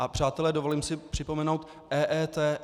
A přátelé, dovolím si připomenout, EET.